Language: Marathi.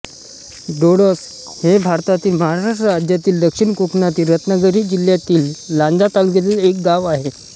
डोळस हे भारतातील महाराष्ट्र राज्यातील दक्षिण कोकणातील रत्नागिरी जिल्ह्यातील लांजा तालुक्यातील एक गाव आहे